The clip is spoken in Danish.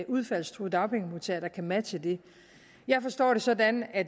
udfaldstruede dagpengemodtagere der kan matche det jeg forstår det sådan at